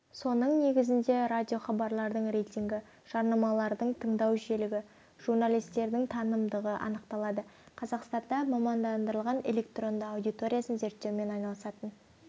соның негізінде радиохабарлардың рейтингі жарнамалардың тыңдау жиілігі журналистердің танымалдығы анықталады қазақстанда мамандандырылған электронды аудиториясын зерттеумен айналысатын